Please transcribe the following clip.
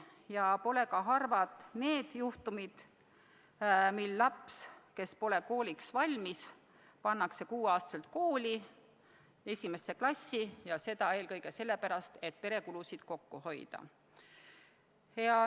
Ja pole ka harvad need juhtumid, mil laps, kes pole kooliks valmis, pannakse 6-aastaselt kooli, esimesse klassi, ja seda eelkõige sellepärast, et pere kulusid kokku hoida.